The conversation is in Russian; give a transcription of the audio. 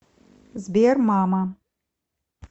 сбер мама